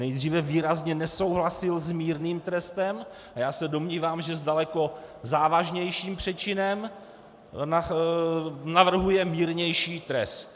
Nejdříve výrazně nesouhlasil s mírným trestem, a já se domnívám, že s daleko závažnějším přečinem navrhuje mírnější trest.